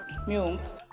mjög ung